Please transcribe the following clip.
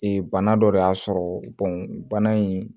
bana dɔ de y'a sɔrɔ bana in